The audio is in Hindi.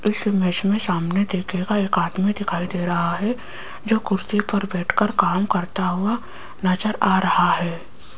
इस इमेज मे सामने देखियेगा एक आदमी दे रहा है जो कुर्सी पर बैठकर काम करता हुआ नजर आ रहा है।